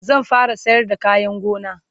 zan fara sayar da kayan gona